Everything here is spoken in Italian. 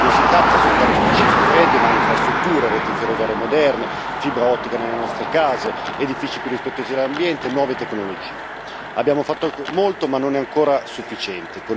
Non si tratta soltanto di cifre fredde ma di infrastrutture, reti ferroviarie moderne, fibra ottica nelle nostre case, edifici più rispettosi dell'ambiente, nuove tecnologie. Abbiamo fatto molto, ma non è ancora sufficiente.